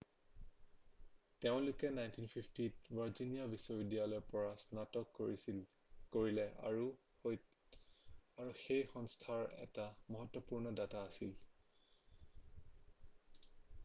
তেওঁলোকে 1950ত ভাৰ্জিনিয়া বিশ্ববিদ্যালয়ৰ পৰা স্নাতক কৰিলে আৰু সেই সংখ্যাৰ এটা মহত্বপূৰ্ণ দাতা আছিল